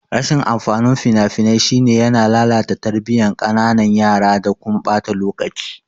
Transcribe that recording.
Rashin amfanin fina-finai shine yana lalata tarbiyan kananan yara da kuma ɓata lokaci.